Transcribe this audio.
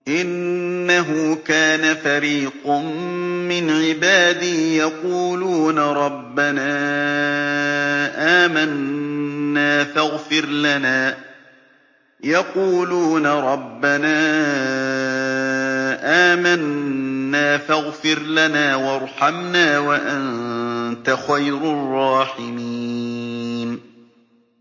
إِنَّهُ كَانَ فَرِيقٌ مِّنْ عِبَادِي يَقُولُونَ رَبَّنَا آمَنَّا فَاغْفِرْ لَنَا وَارْحَمْنَا وَأَنتَ خَيْرُ الرَّاحِمِينَ